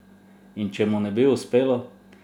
In če mu ne bo uspelo?